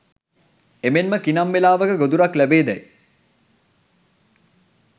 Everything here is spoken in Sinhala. එමෙන්ම කිනම් වෙලාවක ගොදුරක් ලැබේදැයි